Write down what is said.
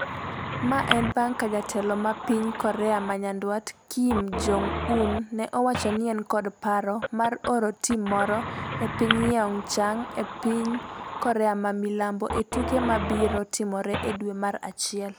Mae en bang' ka jatelo mar piny Korea ma Nyanduat Kim Jong-un ne owacho ni en kod paro mar oro tim moro e piny Pyeongchang e piny Korea ma Milambo e tuke mabiro timore e dwe mar achiel.